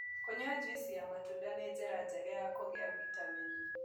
Kũnyua jũĩsĩ ya matunda nĩ njĩra njega ya kũgĩa vĩtamenĩ